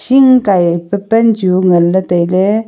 hing kaipe pan chu nganley tailey.